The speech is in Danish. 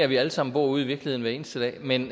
vi alle sammen ude i virkeligheden hver eneste dag men